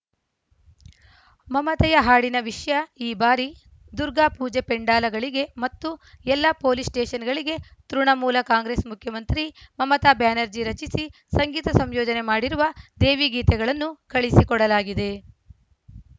ಮಮತೆಯ ಹಾಡಿನ ವಿಷ್ಯ ಈ ಬಾರಿ ದುರ್ಗಾ ಪೂಜಾ ಪೆಂಡಾಲಗಳಿಗೆ ಮತ್ತು ಎಲ್ಲ ಪೊಲೀಸ್‌ ಸ್ಟೇಶನ್‌ಗಳಿಗೆ ತೃಣಮೂಲ ಕಾಂಗ್ರೆಸ್‌ ಮುಖ್ಯಮಂತ್ರಿ ಮಮತಾ ಬ್ಯಾನರ್ಜಿ ರಚಿಸಿ ಸಂಗೀತ ಸಂಯೋಜನೆ ಮಾಡಿರುವ ದೇವಿ ಗೀತೆಗಳನ್ನು ಕಳಿಸಿಕೊಡಲಾಗಿದೆ